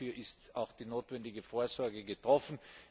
Dafür ist die notwendige Vorsorge getroffen.